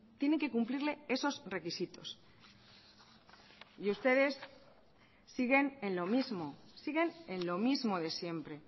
tienen que cumplirle esos requisitos y ustedes siguen en lo mismo siguen en lo mismo de siempre